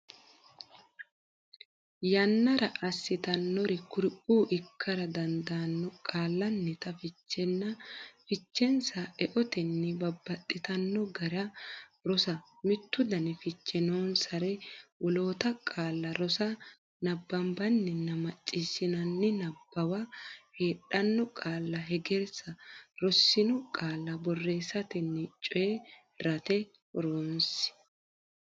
yannara assitannori kuriuu ikkara dandaanno Qaallannita fichenna fichensa eotenni babbaxxitanno gara rosa Mittu dani fiche noonsare woloota qaalla rosa Nabbanbanninna macciishshinanni niwaabba heedhanno qaalla hegersa Rossino qaalla borreessatenna coyi rate horonsi.